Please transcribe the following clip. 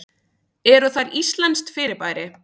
Eru þær íslenskt fyrirbæri?